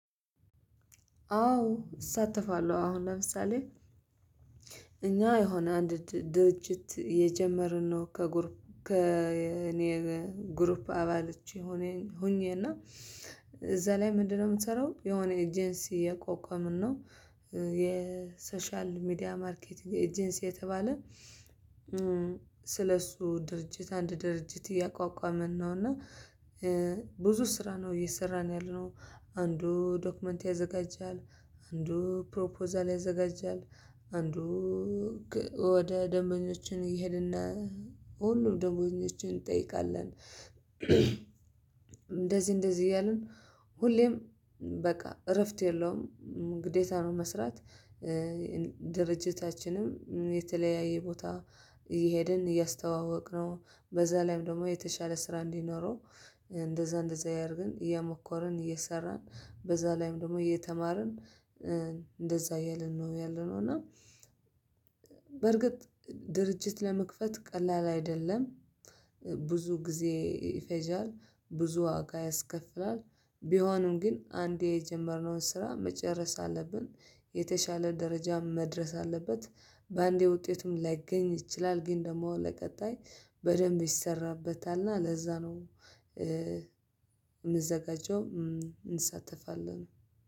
አዎ እሳተፋለሁ አሁን ለምሳሌ እኛ የሆነ አንድ ድርጅት የጀመርነው ከጉርፕ ከእኔ ጉርፕ አባልች ሆኜ ሆኜና እና እዛ ላይ ምንድነው? የምትሰራው የሆነ ኤጀንሲ ያቋቋምነው የሶሻል ሚዲያ ማርኬቲንግ ኤጀንሲ የተባለ ስለሱ ድርጅት አንድ ድርጅት እያቋቋመን ነው። እና ብዙ ስራ ነው እየሰራን ያለነው አንዱ ዶክመንት ያዘጋጃል አንዱ ፕሮፖዛል ያዘጋጃል አንዱ ወደ ደንበኞችን ይሄድና ሁሉም ደበኞችን እንጠይቃለን እንደዚህ እንደዚህ እያልን ሁሌም በቃ እረፍት የለውም ግዴታ ነው። መስራት ድርጅታችንም የተለያየ ቦታ እየሄድን እያስተዋወቅነው በዛ ላይም ደግሞ የተሻለ ስራ እንዲኖረው እንደዛ እንደዛ እያደርግን እየሞከርን እየሰራን በዛ ላይም ደግሞ እየተማርን እንደዛ እያልን ነው ያለነው። እና በርግጥ ድርጅት ለመክፈት ቀላል አይደለም። ብዙ ጊዜ ይፈጃል ብዙ ዋጋ ያስከፍላል ቢሆንም ግን አንዴ የጀመርነውን ስራ መጨረስ አለብን። የተሻለ ደረጃም መድረስ አለበት በአንዴ ውጤቱም ላይገኝ ይችላል ግን ደግሞ ለቀጣይ በደንብ ይሰራበታልና ለዛ ነው። የምዘጋጀው እንሳተፋለን